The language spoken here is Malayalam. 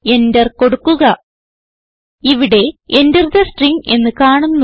എന്റർ കൊടുക്കുക ഇവിടെ Enter തെ സ്ട്രിംഗ് എന്ന് കാണുന്നു